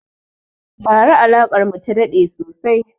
Ba ra alakar mu ta daɗe sosai